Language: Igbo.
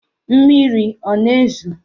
Mmiri ọ na-ezo?